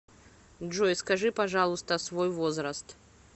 джой скажи пожалуйста свой возраст